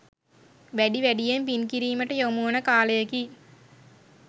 වැඩි වැඩියෙන් පින් කිරීමට යොමුවන කාලයකි.